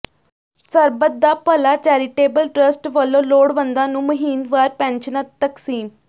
ਸਰਬੱਤ ਦਾ ਭਲਾ charitable trust ਵੱਲੋਂ ਲੋੜਵੰਦਾਂ ਨੂੰ ਮਹੀਨਵਾਰ ਪੈਨਸ਼ਨਾਂ ਤਕਸੀਮ